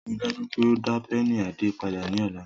Rii daju pe o da pẹ́ẹ̀nì Ade pada ni ọla!